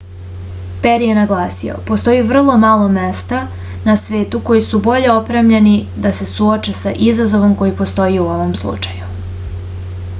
peri je naglasio postoji vrlo malo mesta na svetu koji su bolje opremljena da se suoče sa izazovom koji postoji u ovom slučaju